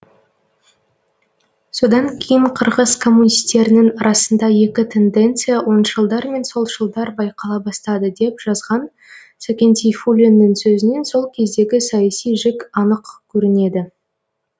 содан кейін қырғыз коммунистерінің арасында екі тенденция оңшылдар мен солшылдар байқала бастады деп жазған сәкен сейфуллиннің сөзінен сол кездегі саяси жік анық көрінеді